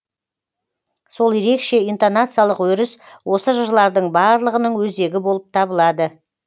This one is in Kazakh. сол ерекше интонациялық өріс осы жырлардың барлығының өзегі болып табылады